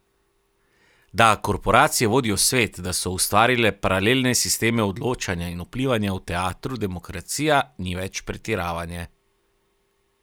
Da korporacije vodijo svet, da so ustvarile paralelne sisteme odločanja in vplivanja v teatru demokracija, ni več pretiravanje.